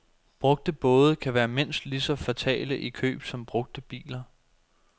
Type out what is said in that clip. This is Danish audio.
Brugte både kan være mindst lige så fatale i køb som brugte biler.